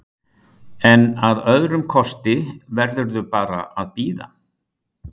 En að öðrum kosti verðurðu bara að bíða?